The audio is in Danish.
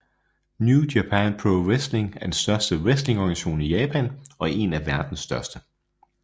New Japan Pro Wrestling er den største wrestlingorganisation i Japan og én af verdens største